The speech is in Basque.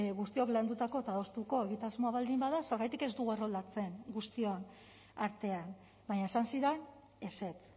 guztiok landutako eta adostuko egitasmoa baldin bada zergatik ez dugu erroldatzen guztion artean baina esan zidan ezetz